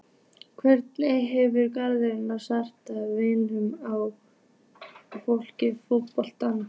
Hvernig hefur gengið að samræma vinnu og fótboltann?